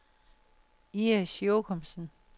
Iris Jochumsen